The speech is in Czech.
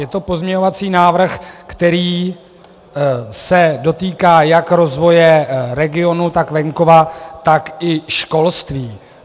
Je to pozměňovací návrh, který se dotýká jak rozvoje regionů, tak venkova, tak i školství.